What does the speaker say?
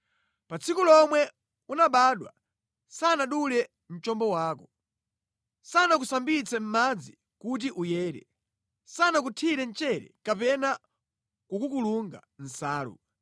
Pa tsiku lomwe unabadwa sanadule mchombo wako. Sanakusambitse mʼmadzi kuti uyere. Sanakuthire mchere kapena kukukulunga mʼnsalu.